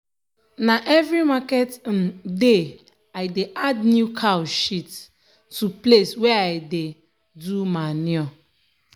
na every market um day i dey add new cow shit to place wey i dey um do manure.